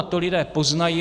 A to lidé poznají.